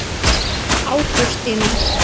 Ágústína